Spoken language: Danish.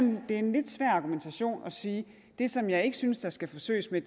en lidt svær argumentation at sige at det som jeg ikke synes der skal forsøges med